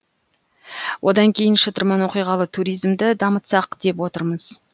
одан кейін шытырман оқиғалы туризмді дамытсақ деп отырмыз